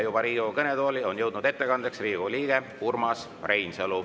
Juba on ettekandeks Riigikogu kõnetooli jõudnud Riigikogu liige Urmas Reinsalu.